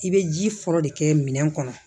I bɛ ji fɔlɔ de kɛ minɛn kɔnɔ